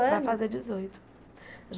Anos Vai fazer dezoito.